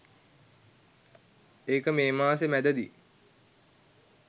ඒක මේ මාසේ මැදදී.